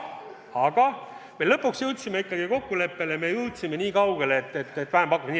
Aga me lõpuks jõudsime ikkagi kokkuleppele, me jõudsime nii kaugele, et tuleb vähempakkumine.